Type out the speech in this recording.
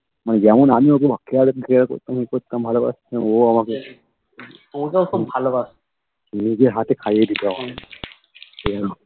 মানে যেমন আমি ওকে care care করতাম ই করতাম ভালো বাসতাম ও আমাকে নিজের হাতে খাইয়ে দিতো আমাকে সেরকম